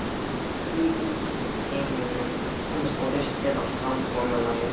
Koma því út úr heiminum, komast að lausn eða samkomulagi.